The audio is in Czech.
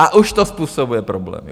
A už to způsobuje problémy.